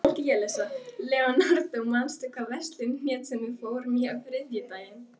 Leonardó, manstu hvað verslunin hét sem við fórum í á þriðjudaginn?